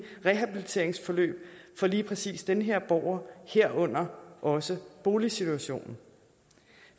rehabiliteringsforløb for lige præcis den her borger herunder også boligsituationen